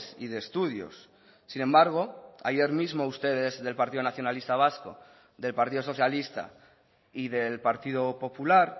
y de estudios sin embargo ayer mismo ustedes del partido nacionalista vasco del partido socialista y del partido popular